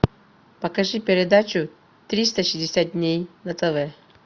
покажи передачу триста шестьдесят дней на тв